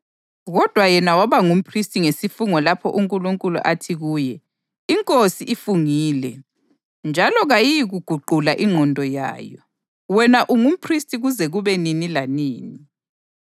kodwa yena waba ngumphristi ngesifungo lapho uNkulunkulu athi kuye: “INkosi ifungile njalo kayiyikuguqula ingqondo yayo: ‘Wena ungumphristi kuze kube nini lanini.’ + 7.21 AmaHubo 110.4”